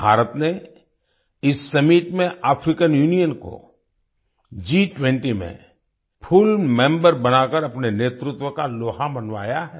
भारत ने इस सम्मित में अफ्रीकान यूनियन को G20में फुल मेंबर बनाकर अपने नेतृत्व का लोहा मनवाया है